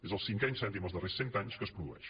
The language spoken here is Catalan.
és el cinquè incendi en els darrers cent anys que es produeix